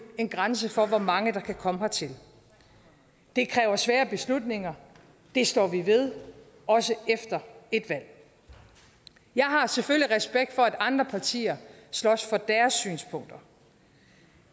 en grænse for hvor mange der kan komme hertil det kræver svære beslutninger og det står vi ved også efter et valg jeg har selvfølgelig respekt for at andre partier slås for deres synspunkter